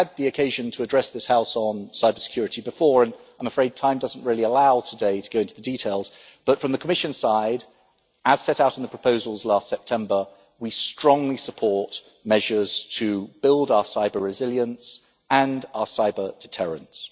I have had the occasion to address this House on cyber security previously, and I am afraid time does not allow me today to go into details but, from the Commission side, as set out in the proposals last September, we strongly support measures to build our cyber resilience and our cyber deterrence.